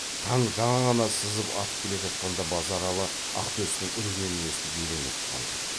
таң жаңа ғана сызып атып келе жатқанда базаралы ақтөстің үргенін естіп елең етіп қалды